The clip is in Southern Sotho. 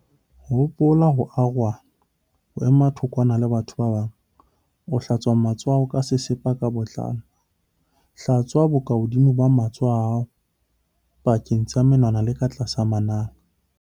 Hopola ho arohana, ho ema thokwana le batho ba bang. Hlatswa matsoho a hao ka sesepa ka botlalo. Hlatswa bokahodimo ba matsoho a hao, pakeng tsa menwana le ka tlasa manala.